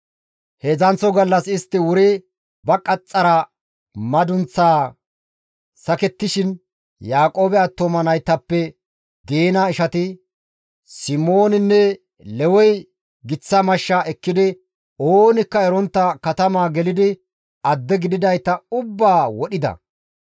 Heedzdzanththo gallas istti wuri ba qaxxara madunththaa sakettishin, Yaaqoobe attuma naytappe Diina ishati, Simooninne Lewey giththa mashsha ekkidi oonikka erontta katamaa gelidi, adde gididayta ubbaa wodhida.